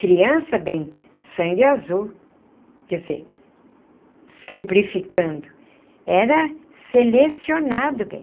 Criança, bem, sangue azul, quer dizer, simplificando, era selecionado, bem.